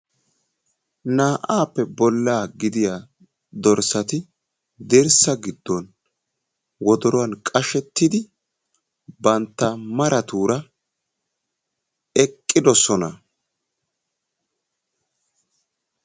Naa"aappe bolla gidiya dorssati dirssa giddon wodoruwan qashettidi bantta maratuura eqqidosona.